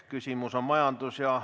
Küsimus on majandus- ja ...